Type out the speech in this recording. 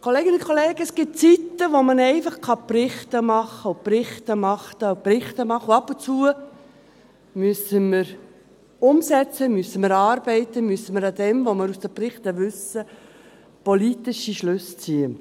Kolleginnen und Kollegen, es gibt Zeiten, in denen man einfach Berichte machen kann ... und Berichte machen, und Berichte machen, und ab und zu müssen wir umsetzen, müssen wir arbeiten, müssen wir aus dem, was wir aus den Berichten wissen, politische Schlüsse ziehen.